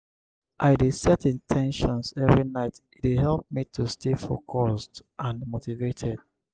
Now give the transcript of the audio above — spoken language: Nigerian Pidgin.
i dey set in ten tions every night e dey help me to stay focused and motivated.